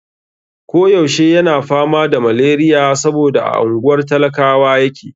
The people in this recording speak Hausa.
Ko yaushe yana fama da maleriya saboda a unguwar talakawa yake.